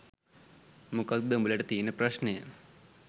මොකක්ද උඹලට තියෙන ප්‍රශ්නය.